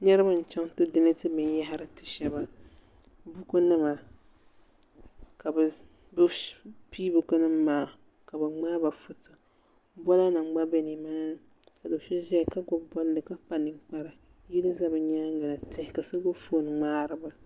niriba n chɛŋ ti donɛtɛ bɛni yɛhiri ti shɛba bukunima ka be pɛi buku nima maa ka be ŋmɛba ƒɔto bulanim gba bɛ ni maa ni ka do so ʒɛya ka gbabi boli ka kpa nɛkpara yili za be nyɛŋa tihi ka so kpɛriba ƒɔto